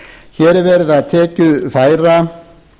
hér er verið að tekjufæra